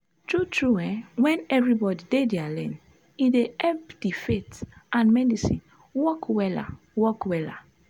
tru tru eh wen everybodi dey dia lane e dey epp di faith and medicine work wella work wella